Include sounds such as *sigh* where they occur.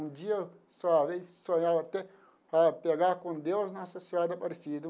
Um dia eu *unintelligible* sonhava até a pegar com Deus Nossa Senhora Aparecida.